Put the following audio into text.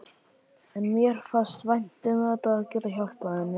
En mér fannst vænt um þetta, að geta hjálpað henni.